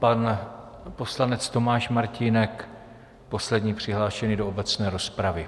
Pan poslanec Tomáš Martínek, poslední přihlášený do obecné rozpravy.